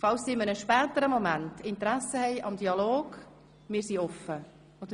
Falls sie zu einem späteren Zeitpunkt Interesse am Dialog haben – wir sind offen dafür.